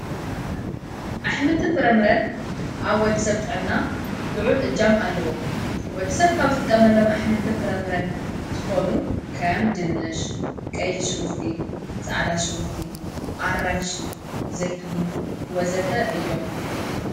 ኣኅምልትን ፍረምረን ኣብ ወዲ ሰብ ጠና ልዑል እጃም ኣለዉ ።ወዲ ሰብ ካብ ዝጥቀመሎም ኣኅምልትን ፍረምረን ዝኾኑ ከም ድንሽ ቀይሕ ሽጉርቲ ፃዕዳ ሽጉርቲ ኣራንሽ ዘይትሁን ወዘተ እዮም።